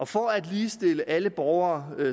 for at ligestille alle borgere